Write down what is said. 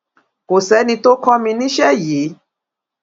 kò sẹni tó kọ mi níṣẹ yìí